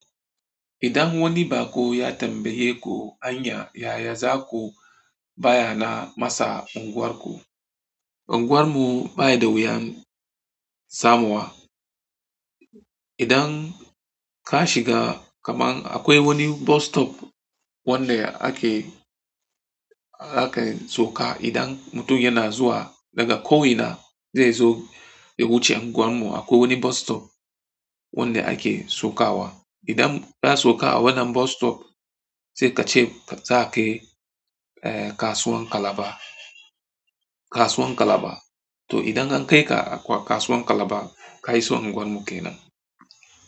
Idan wani baƙo ya tambaye ku anya yaya za ku bayana masa unguwarku? Unguwar mu ba da wuyan samuwa. Idan, ka shiga kaman akwai wani bus stop wanda ake, ake sauka idan mutum yana zuwa daga ko ina zai zo ya wuce unguwar mu akwai wani bus stop wanda ake sauka wa. Idan ka sauka a wannan bus stop sai ka ce za ka je kasuwan Kalaba, kasuwan Kalaba. To idan an kai ka kasuwan Kalaba ka iso unguwar mu kenan.